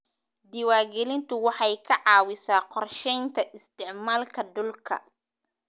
Diiwaangelintu waxay ka caawisaa qorshaynta isticmaalka dhulka.